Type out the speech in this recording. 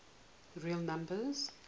real numbers